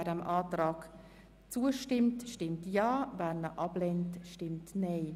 Wer dem Kreditantrag so zustimmt, stimmt Ja, wer ihn ablehnt, stimmt Nein.